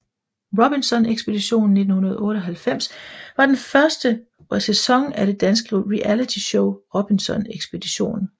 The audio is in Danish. Robinson Ekspeditionen 1998 var den første sæson af det danske realityshow Robinson Ekspeditionen